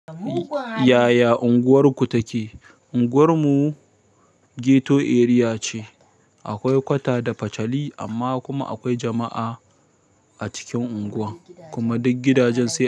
Yaya unguwarku take? Unguwar mu ghetto area ce. Akwai kwata da fachali amma kuma akwai jama'a a cikin unguwa kuma duk gidajen sai.